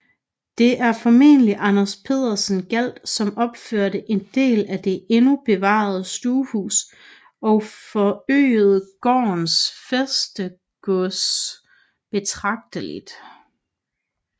Det er formentlig Anders Pedersen Galt som opførte en del af det endnu bevarede stuehus og forøgede gårdens fæstegods betragteligt